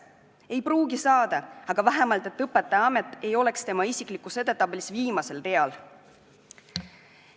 Ei pruugi saada, aga et vähemalt õpetajaamet ei oleks tema isiklikus edetabelis viimasel real.